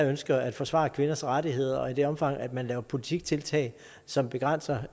ønsker at forsvare kvinders rettigheder og i det omfang man laver politiktiltag som begrænser